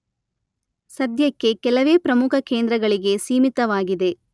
ಸದ್ಯಕ್ಕೆ ಕೆಲವೇ ಪ್ರಮುಖ ಕೇಂದ್ರಗಳಿಗೆ ಸೀಮಿತವಾಗಿದೆ.